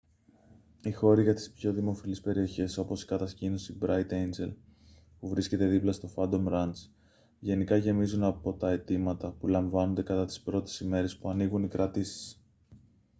οι χώροι για τις πιο δημοφιλείς περιοχές όπως η κατασκήνωση μπράιτ έιντζελ που βρίσκεται δίπλα στο φάντομ ραντς γενικά γεμίζουν από τα αιτήματα που λαμβάνονται κατά τις πρώτες ημέρες που ανοίγουν οι κρατήσεις